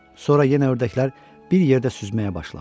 Sonra yenə ördəklər bir yerdə süzməyə başladı.